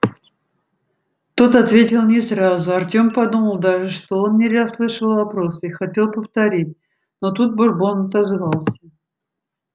тот ответил не сразу артём подумал даже что он не расслышал вопроса и хотел повторить но тут бурбон отозвался